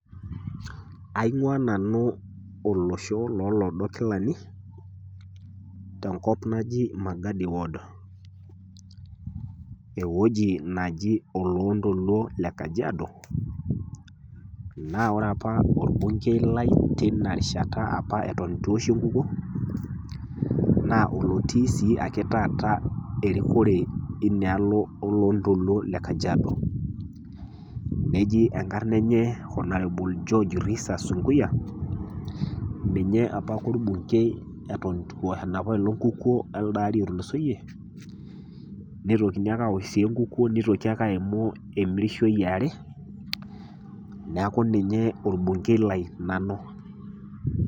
Aing'waa nanu olosho lo iloodo kilani, tenkop naji Magadi ward, ewueji naji oloontoluo le kajiado, naa ore opa olbungei Lai apa ewuen eitu eoshi enkukuo, naa olotii sii ake taata erikore e oloontoluo e kajiado. Neji enkarna enye [honorable] George Sunkuya, ninye opa ake olbungei ewuen eitu opa ake eoshi enkukuo e elde ari ootulusoiye, neitokini ake aosh enkukuo neitoki ake aimisho emirishoi e are neaku ninye olbungei Lai nanu.